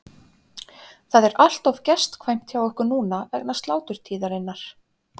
Það er allt of gestkvæmt hjá okkur núna vegna sláturtíðarinnar.